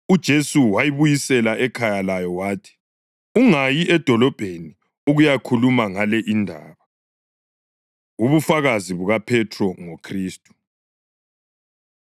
UJesu wayibuyisela ekhaya layo wathi, “Ungayi edolobheni ukuyakhuluma ngale indaba.” Ubufakazi BukaPhethro NgoKhristu